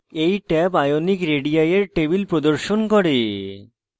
এই table ionic radii এর table প্রদর্শন করে